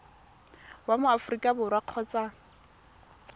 wa mo aforika borwa kgotsa